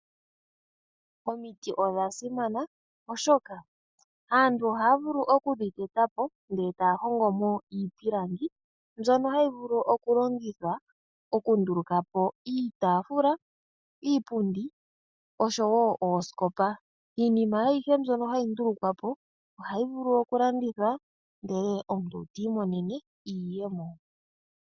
Omiti odha simana oshoka aantu ohaya vulu okudhiteta etaya hongomo iipilangi mbyono hayi vulu okulongithwa okundulukapo iitafula, iipundi oshowo oosikopa. Iinima ayihe mbyono hayi ndulukwa ohayo vulu okulandithwa ndele omuntu ta mono iiyemo.